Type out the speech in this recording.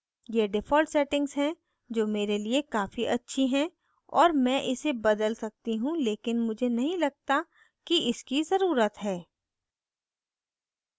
ये default settings हैं जो मेरे लिए काफी अच्छी है और मैं इसे बदल सकती हूँ लेकिन मुझे नहीं लगता कि इसकी ज़रुरत है